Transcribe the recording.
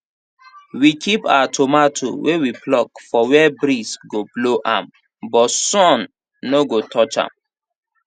we keep our tomato wey we pluck for where breeze go blow am but sun no go touch am